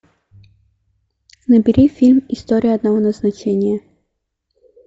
набери фильм история одного назначения